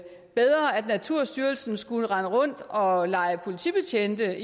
naturstyrelsen skulle rende rundt og lege politibetjent